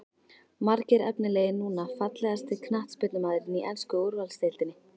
Margir efnilegir núna Fallegasti knattspyrnumaðurinn í ensku úrvalsdeildinni?